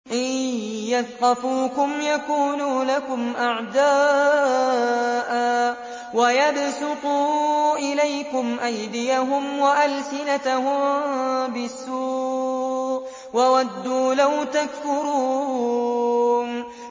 إِن يَثْقَفُوكُمْ يَكُونُوا لَكُمْ أَعْدَاءً وَيَبْسُطُوا إِلَيْكُمْ أَيْدِيَهُمْ وَأَلْسِنَتَهُم بِالسُّوءِ وَوَدُّوا لَوْ تَكْفُرُونَ